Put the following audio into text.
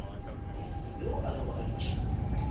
yo a bego a dutše